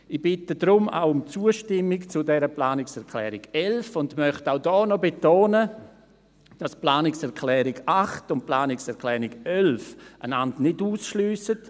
Ich bitte deshalb auch um Zustimmung zur Planungserklärung 11 und möchte auch hier noch betonen, dass sich die Planungserklärung 8 und die Planungserklärung 11 nicht ausschliessen.